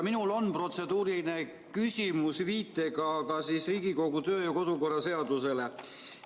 Minul on protseduuriline küsimus viitega Riigikogu kodu- ja töökorra seadusele.